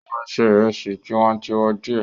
Ó máa ṣe ìrẹsì tiwantiwa díẹ̀.